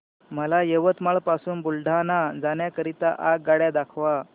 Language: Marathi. मला यवतमाळ पासून बुलढाणा जाण्या करीता आगगाड्या दाखवा